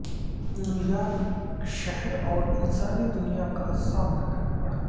new York شہر اور انسانی دنیا کا سامنا کرنا پڑا